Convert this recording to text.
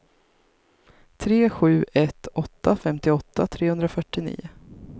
tre sju ett åtta femtioåtta trehundrafyrtionio